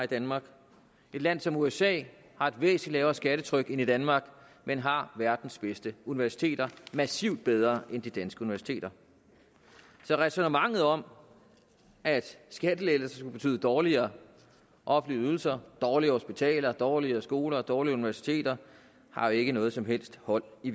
danmark et land som usa har et væsentligt lavere skattetryk end danmark men har verdens bedste universiteter massivt bedre end de danske universiteter så ræsonnementet om at skattelettelser betyder dårligere offentlige ydelser dårligere hospitaler dårligere skoler og dårligere universiteter har ikke noget som helst hold i